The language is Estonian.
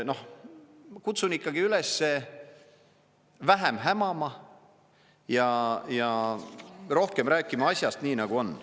Ma kutsun ikkagi ülesse vähem hämama ja rohkem rääkima asjast, nii nagu on.